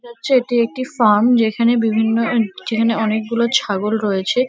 নাচ্ছে এটি একটি ফার্ম যেখানে বিভিন্ন আহ যেখানে অনেকগুলো ছাগল রয়েছে--